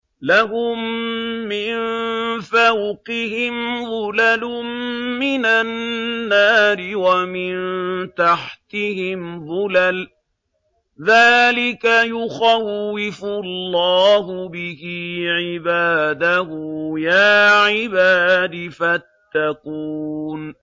لَهُم مِّن فَوْقِهِمْ ظُلَلٌ مِّنَ النَّارِ وَمِن تَحْتِهِمْ ظُلَلٌ ۚ ذَٰلِكَ يُخَوِّفُ اللَّهُ بِهِ عِبَادَهُ ۚ يَا عِبَادِ فَاتَّقُونِ